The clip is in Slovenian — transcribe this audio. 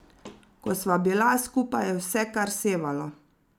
Ko sva bila skupaj, je vse kar sevalo.